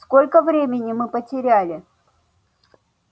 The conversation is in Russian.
сколько времени мы потеряли